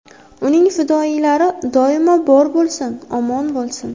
Uning fidoyilari doimo bor bo‘lsin, omon bo‘lsin!